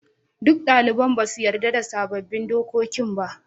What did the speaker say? Duk daliban ba su yarda da sabbin dokokin ba.